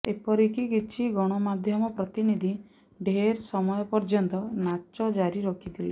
ଏପରିକି କିଛି ଗଣମାଧ୍ୟମ ପ୍ରତିନିଧି ଢେର ସମୟ ପର୍ୟ୍ୟନ୍ତ ନାଚ ଜାରି ରଖିଥିଲେ